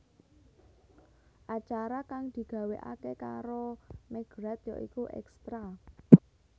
Acara kang digawakaké karo McGrath ya iku Extra